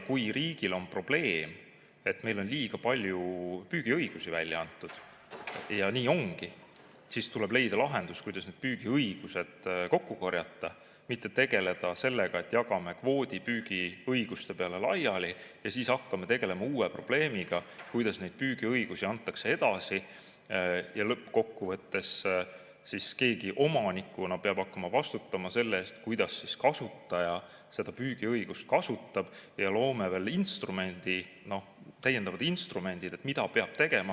Kui riigil on probleem, et meil on liiga palju püügiõigusi välja antud, ja nii ongi, siis tuleb leida lahendus, kuidas need püügiõigused kokku korjata, mitte ei tule tegeleda sellega, et jagame kvoodi püügiõiguste peale laiali ja siis hakkame tegelema uue probleemiga, kuidas neid püügiõigusi edasi antakse, lõppkokkuvõttes siis keegi omanikuna peab hakkama vastutama selle eest, kuidas kasutaja seda püügiõigust kasutab, ja loome veel täiendavad instrumendid, mida peab tegema.